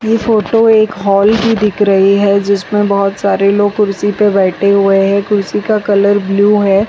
ये फोटो एक हॉल की दिख रही है जिसमें बहुत सारे लोग कुर्सी पर बैठे हुए हैं कुर्सी का कलर ब्लू है।